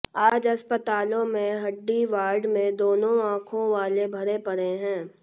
आज अस्पतालों में हड्डी वार्ड में दोनों आंखों वाले भरे पडे हैं